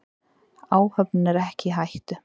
Áhöfnin er ekki í hættu.